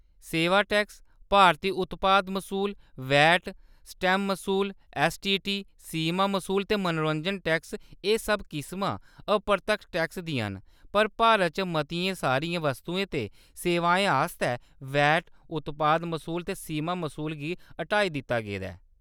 सेवा टैक्स, भारती उत्पाद मसूल, वैट, स्टैम्प मसूल, ऐस्सटीटी, सीमा मसूल ते मनोरंजन टैक्स, एह्‌‌ सब किसमां अपरतक्ख टैक्सें दियां न, पर भारत च मतियें सारियें वस्तुएं ते सेवाएं आस्तै वैट, उत्पाद मसूल ते सीमा मसूल गी हटाई दित्ता गेदा ऐ। .